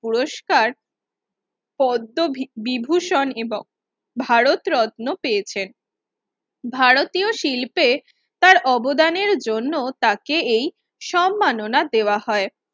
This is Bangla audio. পুরস্কার পদ্মবিভূষণ এবং ভারতরত্ন পেয়েছেন ভারতীয় শিল্পে তার অবদানের জন্য তাকে এই সম্মাননা দেওয়া হয়